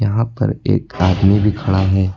यहां पर एक आदमी भी खड़ा है।